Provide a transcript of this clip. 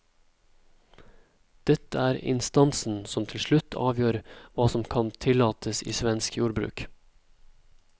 Dette er instansen som til slutt avgjør hva som kan tillates i svensk jordbruk.